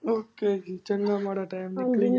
Okay ਜੀ ਚੰਗਾ ਮਾੜਾ ਟੈਮ ਨਿਕਲ।